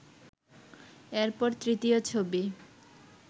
এরপর তৃতীয় ছবি